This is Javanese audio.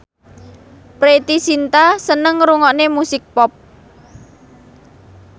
Preity Zinta seneng ngrungokne musik pop